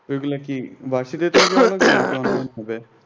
ওইগুলা কি